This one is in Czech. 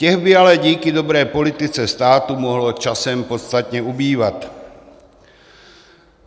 Těch by ale díky dobré politice státu mohlo časem podstatně ubývat.